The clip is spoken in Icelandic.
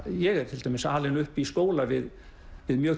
ég er til dæmis alinn upp í skóla við mjög